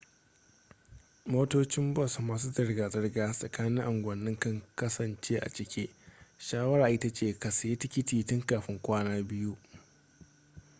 motocin bus masu zirga-zirga tsakanin unguwanni kan kasance a cike shawara ita ce ka sayi tikiti tun kafin kwana biyu